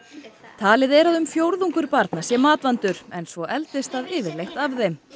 talið er að um fjórðungur barna sé matvandur en svo eldist það yfirleitt af þeim